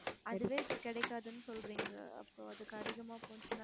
அதுவே இப்ப கிடைக்காதுன்னு சொல்றீங்க அப்போ அதுக்கு அதிகமா போச்சுனா